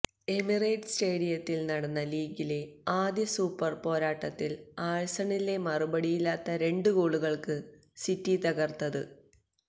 Emirates സ്റ്റേഡിയത്തില് നടന്ന ലീഗിലെ ആദ്യ സൂപ്പര് പോരാട്ടത്തില് ആഴ്സണലിനെ മറുപടിയില്ലാത്ത രണ്ട് ഗോളുകള്ക്കാണ് സിറ്റി തകര്ത്തത്